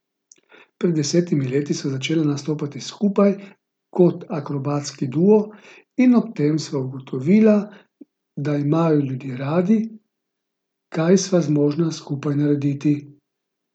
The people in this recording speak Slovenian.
Pred desetimi leti sva začela nastopati skupaj kot akrobatski duo in ob tem sva ugotovila, da imajo ljudje radi, kaj sva zmožna skupaj narediti.